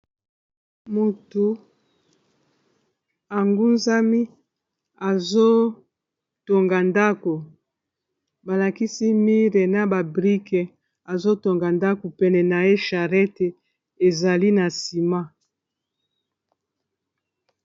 motu angunzami azotonga ndako balakisi mire na ba brike azotonga ndako pene na ye charrette ezali na nsima